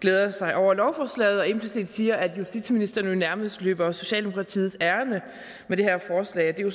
glæder sig over lovforslaget og implicit siger at justitsministeren jo nærmest løber socialdemokratiets ærinde med det her forslag det er jo